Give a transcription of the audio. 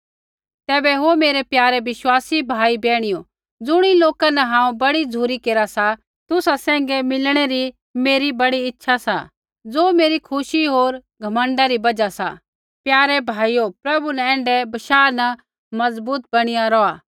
तैबै ओ मेरै प्यारे विश्वासी भाइयो बैहणियो ज़ुणी लोका न हांऊँ बड़ी झ़ुरी केरा सा तुसा सैंघै मिलणै री मेरी बड़ी इच्छा सा ज़ो मेरी खुशी होर घमण्डा री बजहा सा प्यारे भाइयो प्रभु न एण्ढै बशाह न मज़बूत बणिया रौहा सी